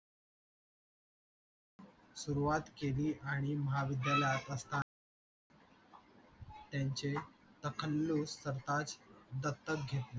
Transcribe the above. सुरुवात केली आणि महाविद्यालयात असताना त्यांचे सरताज दत्तक घेतले